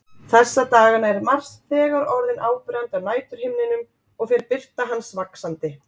Þessa dagana er Mars þegar orðinn áberandi á næturhimninum og fer birta hans vaxandi.